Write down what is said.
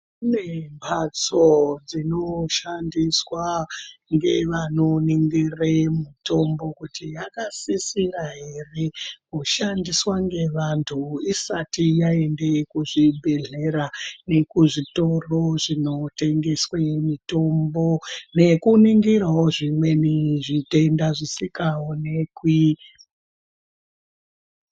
Kune mbatso dzinoshandiswa ngevanoningire mitombo kuti yakasisira ere kushandiswe ngevantu isati yaende kuzvibhedhleya nekuzvitoro zvinotengeswe mitombo nekuningirawo zvimweni zvitenda zvisikaonekwi.